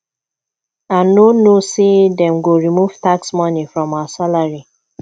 i no know say dey go remove tax money from our salary